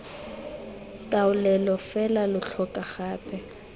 taolelo fela lo tlhoka gape